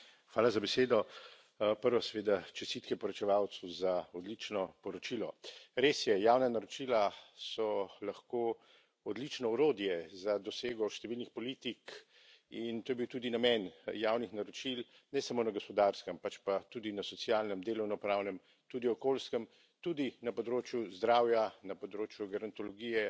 Gospod predsednik, hvala za besedo. Prvo, seveda, čestitke poročevalcu za odlično poročilo. Res je, javna naročila so lahko odlično orodje za dosego številnih politik in to je bil tudi namen javnih naročil, ne samo na gospodarskem, pač pa tudi na socialnem, delovno pravnem, tudi okoljskem, tudi na področju zdravja, na področju gerontologije,